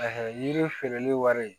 yiri feereli wari